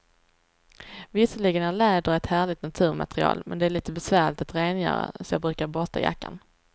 Visserligen är läder ett härligt naturmaterial, men det är lite besvärligt att rengöra, så jag brukar borsta jackan.